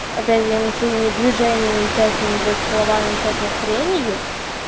опять я им своими движениями всякими блять словами всякой хренью